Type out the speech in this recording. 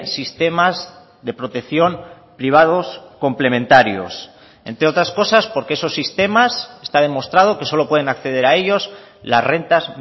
sistemas de protección privados complementarios entre otras cosas porque esos sistemas está demostrado que solo pueden acceder a ellos las rentas